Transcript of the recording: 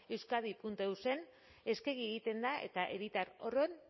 euskadieus en eskegi egiten da eta herritar